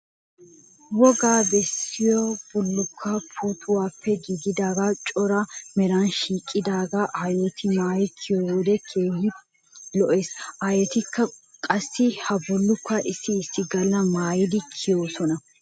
Woga bessiya bullukkoy puuttuwappe giigida cora meran sikettidaagaa aayoti maayi kiyo wode keehi lo'ees. Aayitikka qassi ha bullukkuwa issi issi galla maayidi kiyoosona.